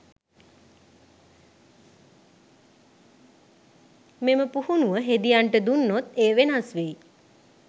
මෙම පුහුණුව හෙදියන්ට දුන්නොත් එය වෙනස් වෙයි.